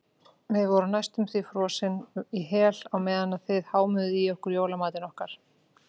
Við vorum næstum því frosin í hel á meðan þið hámuðuð í ykkur jólamatinn okkar.